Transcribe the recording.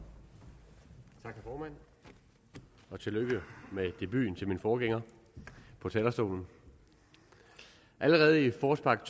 formand og tillykke med debuten til min forgænger på talerstolen allerede i forårspakke